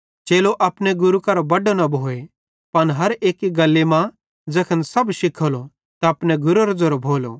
चेलो अपने गुरू करां बड्डो न भोए पन हर एक्की गल्ली मां ज़ैखन सब शिखेलो त अपने गुरेरो ज़ेरो भोलो